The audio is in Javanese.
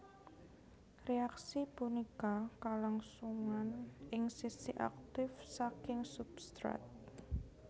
Reaksi punika kalangsungan ing sisi aktif saking substrat